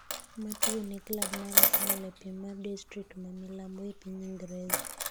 matugo ne klab mar Arsenal e piem mar distrikt ma milambo e piny Ingreza